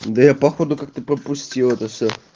да я походу как-то пропустил это все